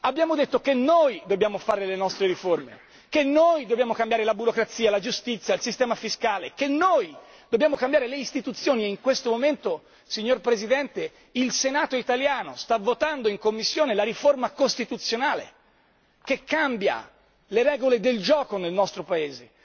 abbiamo detto che noi dobbiamo fare le nostre riforme, che noi dobbiamo cambiare la burocrazia, la giustizia, il sistema fiscale, che noi dobbiamo cambiare le istituzioni e in questo momento, signor Presidente, il Senato italiano sta votando in commissione la riforma costituzionale che cambia le regole del gioco nel nostro Paese.